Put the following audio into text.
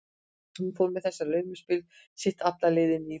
Hún fór með þetta laumuspil sitt alla leið inn í íbúð